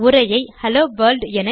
உரையை hello world